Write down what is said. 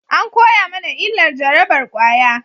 An koya mana illar jarabar kwaya